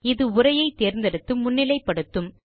இது உரையை தேர்ந்தெடுத்து முன்னிலை படுத்தும்